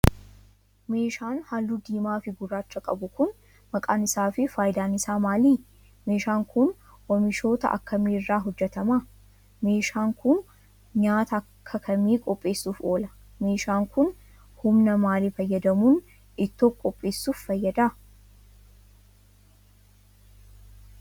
Meeshaan haalluu diimaa fi gurraacha qabu kun maqaan isaa fi faayidaan isaa maali? Meeshaan kun, oomishoota akkamii irraa hojjatama? Meeshaan kun, nyaata akka kamii qopheessuuf oola? Meeshaan kun, humna maalii fayyadamuun ittoo qopheessuuf fayyada?